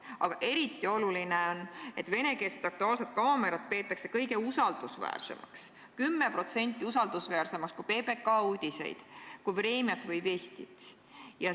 Aga eriti oluline on, et venekeelset "Aktuaalset kaamerat" peetakse kõige usaldusväärsemaks, 10% usaldusväärsemaks kui PBK uudiseid, kui "Vremjat" või "Vestit".